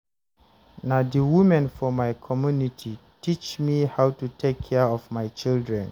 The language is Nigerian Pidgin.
Na di women for my community teach me how to take care of my children.